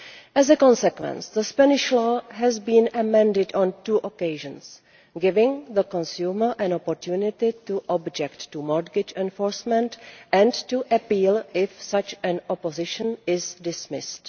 As a consequence, the Spanish law has been amended on two occasions, giving the consumer an opportunity to object to mortgage enforcement and to appeal if such an objection is dismissed.